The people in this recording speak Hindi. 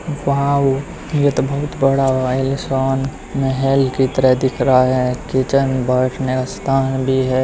वो अ यह तो बहुत बड़ा महल की तरह दिख रहा है। किचन बैठने का स्थान भी है।